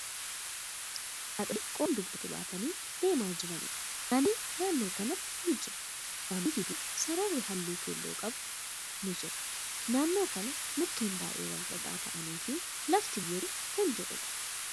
Haadholii qoraan dugdatti baatanii deemaa jiraniidha. Daandin naannoo kanatti ni jira. Daandii gidduu sararri haalluu keelloo qabu ni jira. Naannoo kana mukkeen baay'ee walxaxaa ta'anii fi lafti biyyee qabu kan jruudha.